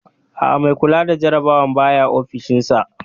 Aa, mai kula da jarabawar baya ofishin sa